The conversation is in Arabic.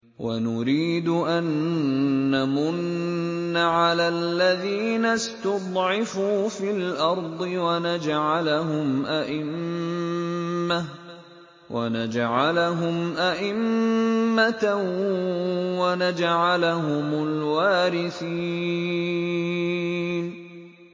وَنُرِيدُ أَن نَّمُنَّ عَلَى الَّذِينَ اسْتُضْعِفُوا فِي الْأَرْضِ وَنَجْعَلَهُمْ أَئِمَّةً وَنَجْعَلَهُمُ الْوَارِثِينَ